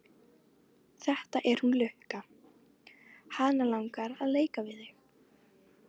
Þetta er hún Lukka, hana langar að leika við þig.